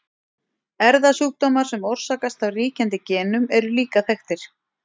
Erfðasjúkdómar sem orsakast af ríkjandi genum eru líka þekktir.